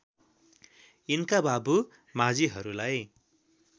यिनका बाबु माझीहरूलाई